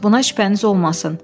Buna şübhəniz olmasın.